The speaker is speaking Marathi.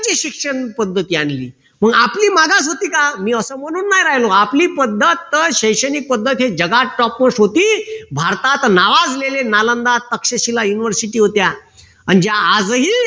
ची शिक्षण पद्धती आणली मग आपली मागास होती का मी असं म्हणून राहिलो आपली पद्धत शैक्षणिक पद्धत जगात topmost होती भारतात नावाजलेले university होत्या अन ज्या आजही